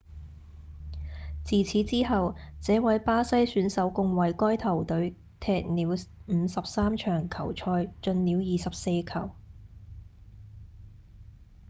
自此之後這位巴西選手共為該球隊踢了53場球賽進了24球